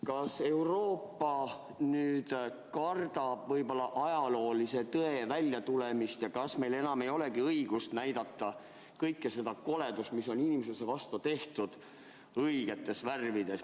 Kas Euroopa kardab ajaloolise tõe väljatulemist ja kas meil ei olegi enam õigust näidata kogu seda koledust, mis on inimsuse vastu tehtud, õigetes värvides?